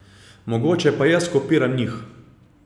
Mogoče pa jaz kopiram njih ...